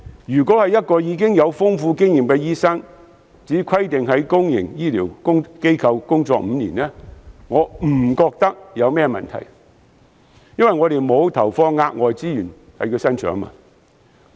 若是一名經驗豐富的醫生，即使只規定他須在公營醫療機構工作5年，我不認為有甚麼問題，因為我們沒有投放額外資源在他身上。